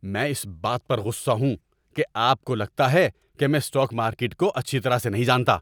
میں اس بات پر غصہ ہوں کہ آپ کو لگتا ہے کہ میں اسٹاک مارکیٹ کو اچھی طرح سے نہیں جانتا۔